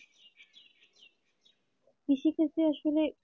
কৃষি ক্ষেত্রে আসলে